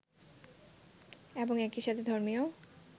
এবং একই সাথে ধর্মীয়